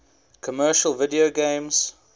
commercial video games